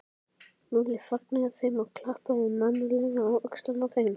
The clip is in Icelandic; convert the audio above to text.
Lúlli fagnaði þeim og klappaði mannalega á öxlina á þeim.